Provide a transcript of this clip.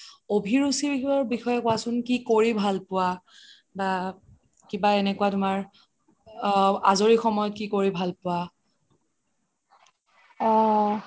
অভিৰুচিৰ বিষয়ে কুৱাচোন কি কৰি ভাল পুৱা বা কিবা এনেকুৱা তুমাৰ আ আজৰি সময়ত কি কৰি ভাল পোৱা